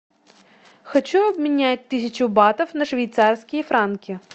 хочу обменять тысячу батов на швейцарские франки